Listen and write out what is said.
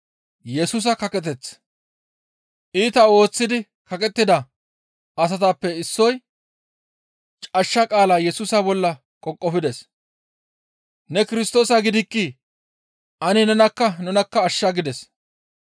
Iita ooththidi kaqettida asatappe issoy cashsha qaala Yesusa bolla qoqofides. «Ne Kirstoosa gidikkii? Ane nenakka nunakka ashsha» gides.